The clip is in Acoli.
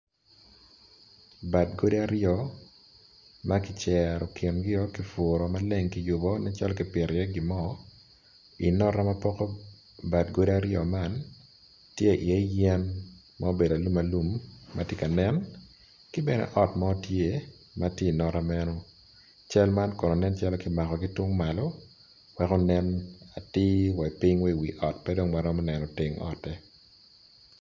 Bad godi aryo makiceto kin o kiputo maleng kiyubo ne calo kipito iye gimo, i nota mapoko bad gudo aryo man ki iye yen ma obedo alum alum matye ka nene kibene ot mo tye matye inota meno, cal man kono nen calo kimako kitung malo weko nen atir wa i ping me wa i wi ot pe dong waromo neno teng ote.